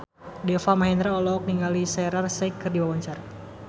Deva Mahendra olohok ningali Shaheer Sheikh keur diwawancara